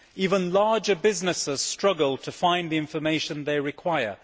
Even larger businesses struggle to find the information they require.